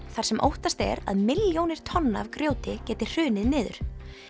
þar sem óttast er að milljónir tonna af grjóti geti hrunið niður